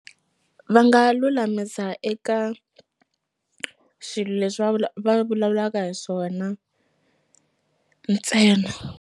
Va nga lulamisa eka swilo leswi va va vulavulaka hi swona ntsena.